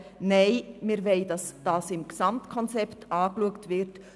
Nein, wir wollen, dass das Gesamtkonzept angeschaut wird.